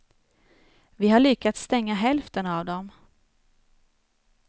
Vi har lyckats stänga hälften av dem.